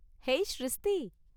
ஏய் ஷிரிஸ்த்தி!